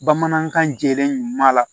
Bamanankan jɛlen ɲuman la